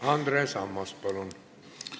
Andres Ammas, palun!